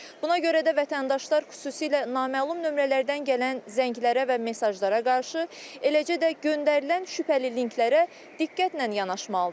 Buna görə də vətəndaşlar xüsusilə naməlum nömrələrdən gələn zənglərə və mesajlara qarşı, eləcə də göndərilən şübhəli linklərə diqqətlə yanaşmalıdırlar.